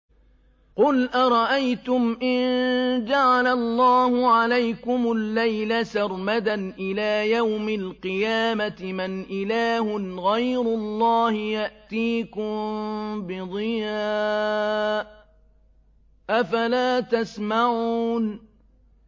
قُلْ أَرَأَيْتُمْ إِن جَعَلَ اللَّهُ عَلَيْكُمُ اللَّيْلَ سَرْمَدًا إِلَىٰ يَوْمِ الْقِيَامَةِ مَنْ إِلَٰهٌ غَيْرُ اللَّهِ يَأْتِيكُم بِضِيَاءٍ ۖ أَفَلَا تَسْمَعُونَ